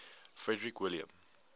frederick william